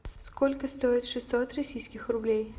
сколько стоит шестьсот российских рублей